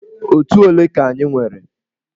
Otù ole ka anyị nwere?